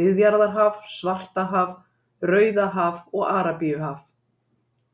Miðjarðarhaf, Svartahaf, Rauðahaf og Arabíuhaf.